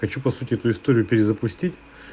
хочу по сути эту историю перезапустить